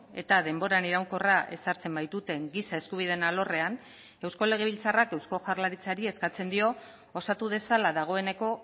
eta denboran iraunkorra ezartzen baituten giza eskubideen alorrean eusko legebiltzarrak eusko jaurlaritzari eskatzen dio osatu dezala dagoeneko